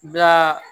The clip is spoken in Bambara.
Da